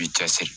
I bi cɛ siri